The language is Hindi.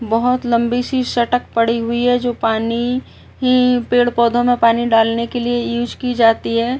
बहुत लम्बी सी सटक पड़ी हुई है जो पानी ही पेड़ पौधों में पानी डालने के लिए यूज़ की जाती है।